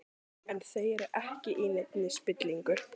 En þau eru ekki í neinni spillingu.